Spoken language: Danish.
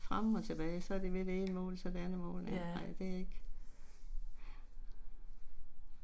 Ja